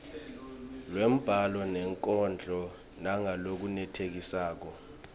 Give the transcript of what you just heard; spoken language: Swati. lwembhalo nenkondlo ngalokwenetisako